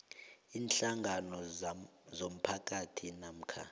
iinhlangano zomphakathi namkha